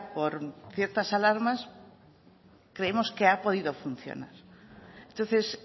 por ciertas alarmas creemos que ha podido funcionar entonces